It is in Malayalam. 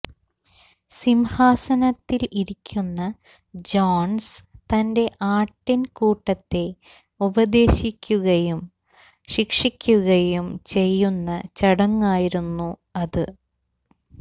സിംഹാസനത്തിൽ ഇരിക്കുന്ന ജോൺസ് തന്റെ ആട്ടിൻകൂട്ടത്തെ ഉപദേശിക്കുകയും ശിക്ഷിക്കുകയും ചെയ്യുന്ന ചടങ്ങായിരുന്നു അത്